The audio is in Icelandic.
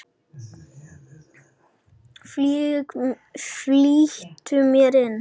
Flýtti mér inn.